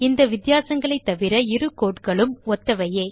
இந்த வித்தியாசங்களைத் தவிர இரு codeகளும் ஒத்தவையே